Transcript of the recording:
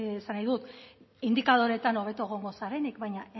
esan nahi indikadoreetan hobeto egongo zarenik baina